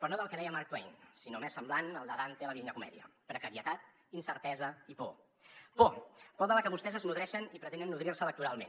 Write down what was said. però no del que deia mark twain sinó més semblant al de dante a la divina comèdia precarietat incertesa i por por por de la que vostès es nodreixen i pretenen nodrir se electoralment